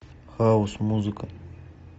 хаус музыка